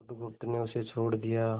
बुधगुप्त ने उसे छोड़ दिया